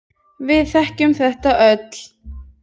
Við þekkjum þetta öll.